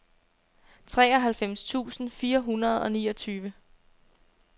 treoghalvfems tusind fire hundrede og niogtyve